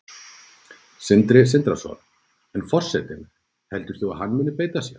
Sindri Sindrason: En forsetinn, heldur þú að hann muni beita sér?